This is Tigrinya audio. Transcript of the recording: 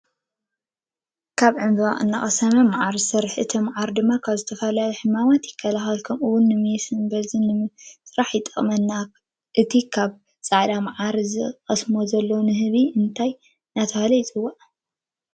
ካብ ዕንበባ እናቀመሰ መዓር ይሰርሕ ። እቲ መዓር ድማ ካብ ዝተፈላለዩ ሕማማት ይካላከል ከምኡ እውን ፣ንሜስን ብርዝን ንምራሕ ይጠቅመና። እቲ ካብ ፃዕዳ ዕንበባ ዝቀምስ ዘሎ ንንህቢ እንታይ እናተባሃለ ይሕዋዕ?